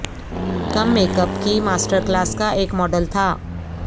کم make up کی master class کا ایک ماڈل تھا